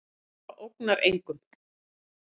Harpa ógnar engum